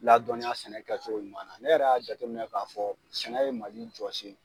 Ladɔnniya sɛnɛ kɛcogo ɲuman na ne yɛrɛ y'a jateminɛ k'a fɔ sɛnɛ ye Mali jɔsen